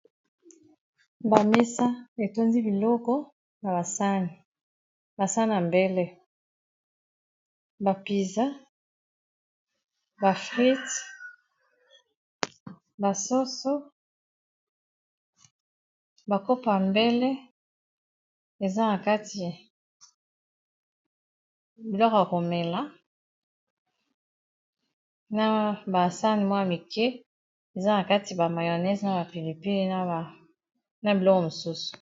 Ba mesa etondi biloko na basani basani a mbele bapiza bafrite, basoso bakopa mbele eaakti biloko ya komela na baassane mwaya mike eza na kati ba mionese na bapilipine na biloko mosusu